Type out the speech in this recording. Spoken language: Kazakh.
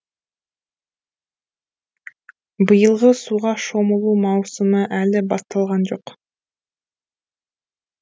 биылғы суға шомылу маусымы әлі басталған жоқ